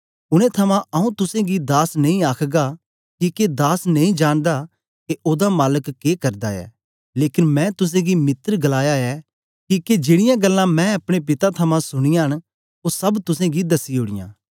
उनै थमां आऊँ तुसेंगी दास नेई आखगा किके दास नेई जानदा के ओदा मालक के करदा ऐ लेकन मैं तुसेंगी मित्र गलाया ऐ किके मैं जेड़ीयां गल्लां अपने पिता थमां सुनाया न ओ सब तुसेंगी दसी ओड़ीयां